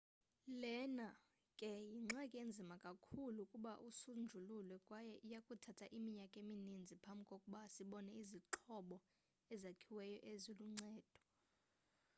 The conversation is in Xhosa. lena ke yingxaki enzima kakhulu ukuba isonjululwe kwaye iyakuthatha iminyaka emininzi phambi kokuba sibone izixhobo ezakhiweyo eziluncedo